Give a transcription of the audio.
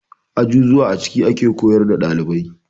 Azuzuwa a ciki ake koyar da ɗalibai.